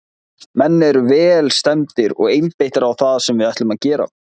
Menn eru vel stemmdir og einbeittir á það sem við ætlum að gera.